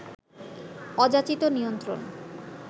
অযাচিত নিয়ন্ত্রণ